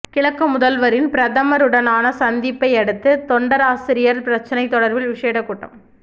கிழக்கு முதல்வரின் பிரதமருடனான சந்திப்பையடுத்து தொண்டராசிரியர் பிரச்சினை தொடர்பில் விஷேட கூட்டம்